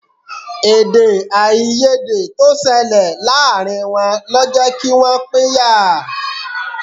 Èdèàìyedè tó ṣẹlẹ̀ láàárín wọn lọ jẹ́ kí wọ́n pínyà